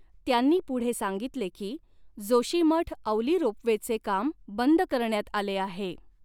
त्यांनी पुढे सांगितले की, जोशीमठ औली रोपवेचे काम बंद करण्यात आले आहे.